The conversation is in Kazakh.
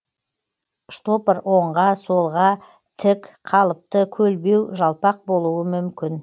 штопор оңға солға тік қалыпты көлбеу жалпақ болуы мүмкін